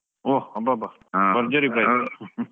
ಓ ಅಬ್ಬಬ್ಬಾ ಭರ್ಜರಿ price